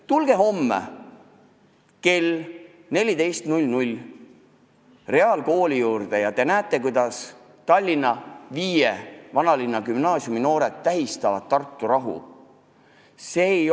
Tulge homme kell 14 reaalkooli juurde ja te näete, kuidas viie Tallinna kesklinna gümnaasiumi noored tähistavad Tartu rahu!